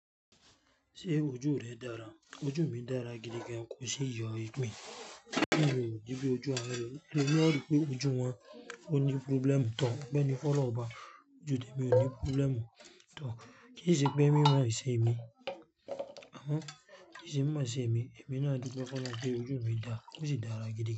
Ṣé ojú rẹ dára? Ojú mi dára gidi gan. Kò sí yọ̀ ipin, bi ojú elo mi, ojú wọn ló ní problem. Òpe ni fun olorun ọba, ojú tèmi ò ní problem. Kí sí ṣe mi mo sè mi. Kí í ṣe mi mo ṣe èmi, èmi náà dupe fun ọ́lọ́hun pé ojú mi dà, o si dára gidi gan.